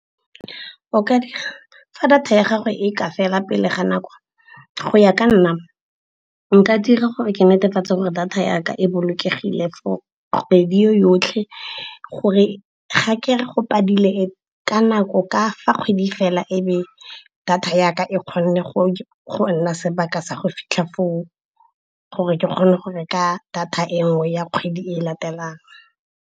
Fa data ya gagwe e ka fela pele ga nako go ya ka nna nka dira gore ke netefatsa gore data yaka e bolokegile for kgwedi yo yotlhe. Gore ga ke re go padile ka nako ka fa kgwedi fela ebe data yaka e kgone go nna sebaka sa go fitlha foo, gore ke kgone go reka data e nngwe ya kgwedi e latelang.